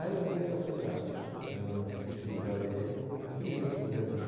Aí um dia eu fui lá no no es escritório dele, o que é em seu Fernando?